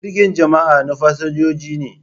Jirgin jama'a na fasinjoji ne.